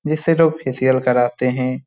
जिससे लोग फेसिअल कराते हे ।